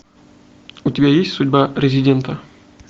у тебя есть судьба резидента